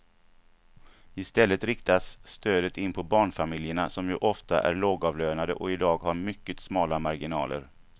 I stället riktas stödet in på barnfamiljerna som ju ofta är lågavlönade och i dag har mycket smala marginaler.